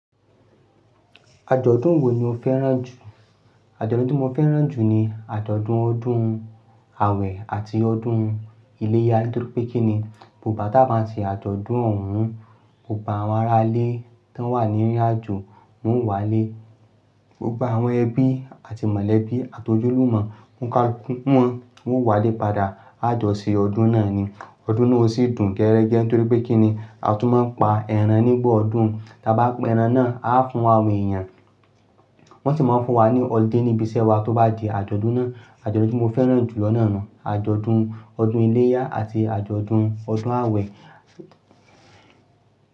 Àjọ̀dún wo ni o fẹ́ràn jù? Àjọ̀dún mo fẹ́ràn jù ni àjọ̀dún ọdún Awẹ̀ àti ọdún iléyá torí pé kíni, gbo gba tà n bá ṣe àjọ̀dún ọ̀hun, gbogbo àwọn ará ilé tó wà ní írin àjò wọn o wá lé, gbogbo àwọn ẹbí àti mọ̀lẹ́bí àti ojúlùmọ̀ onikaluku won, wọn o wá lé padà, a jọ ṣe ọdún náà ni. Ọdún náà o sì dùn geẹ́rẹ́gẹ́ torí pé kíni, a tún máa ń pa eran nígbà ọdún, tá bá peran náà a fún àwọn èèyàn, wọ́n sì máa ń fún wa ni olude níbi iṣẹ́ wa tó bá di àjọ̀dún náà. Àjọ̀dún ti mo fẹ́ràn jù lọ́nà náà nu, àjọ̀dún ọdún iléyá àti àjọ̀dún ọdún àwẹ̀